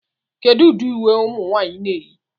Kedu ụdị uwe ụmụ nwanyị na-eyi